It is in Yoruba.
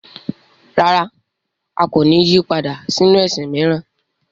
Rárá! A kò ní yí padà sínu ẹ̀sìn mìíràn.